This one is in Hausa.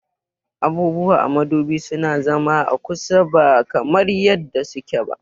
Abubuwa a modubi suna zama a kusa ba kamar yadda suke ba